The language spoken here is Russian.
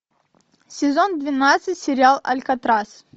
сезон двенадцать сериал алькатрас